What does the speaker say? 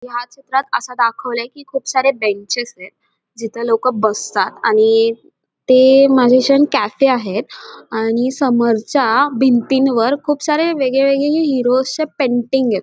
ह्या चित्रात अस दाखवलय की खूप सारे बेंचेस यत जिथ लोक बसतात आणि ते मॅजिशियन कॅफे आहे आणि समोरच्या भिंतीवर खूप सारे वेगळेवेगळे हे हिरोज चे पेंटिंग यत.